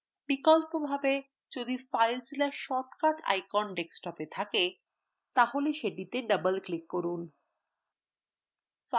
বিকল্পভাবে যদি filezilla shortcut icon desktopএ থাকে তাহলে এটিতে double click করুন